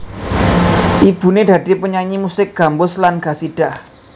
Ibuné dadi penyanyi musik gambus lan qasidah